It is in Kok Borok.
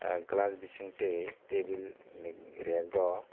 ang glass bising tui tebil rag o.